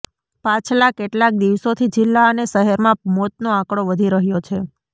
પાછલા કેટલાક દિવસોથી જિલ્લા અને શહેરમાં મોતનો આંકડો વધી રહ્યો છે